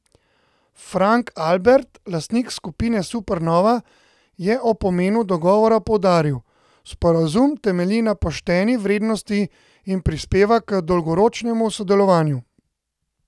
Frank Albert, lastnik Skupine Supernova, je o pomenu dogovora poudaril: "Sporazum temelji na pošteni vrednosti in prispeva k dolgoročnemu sodelovanju.